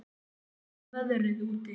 Þjálfi, hvernig er veðrið úti?